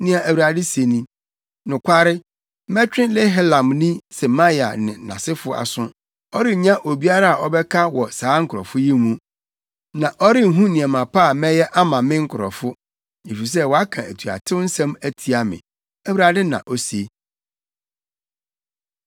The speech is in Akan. nea Awurade se ni: Nokware, mɛtwe Nehelamni Semaia ne nʼasefo aso. Ɔrennya obiara a ɔbɛka wɔ saa nkurɔfo yi mu, na ɔrenhu nneɛma pa a mɛyɛ ama me nkurɔfo, efisɛ waka atuatew nsɛm atia me,’ ” Awurade na ose.